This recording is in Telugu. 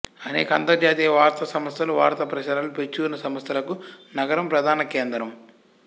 అనేక అంతర్జాతీయ వార్తాసంస్థలు వార్తా ప్రసారాలు ప్రచురణా సంస్థలకు నగరం ప్రధాన కేంద్రం